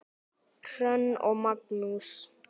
Hrönn og Magnús.